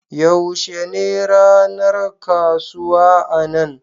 Yaushe ne ranar kasuwa a nan?